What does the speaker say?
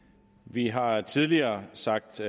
vi har tidligere sagt